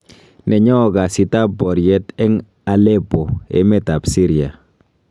Nenyo kasiit ab boriet en Aleppo emet ab Syria.